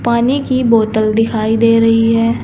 पानी की बोतल दिखाई दे रही है।